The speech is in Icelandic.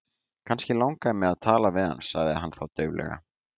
Kannski langaði mig til að tala við hann sagði hann þá dauflega.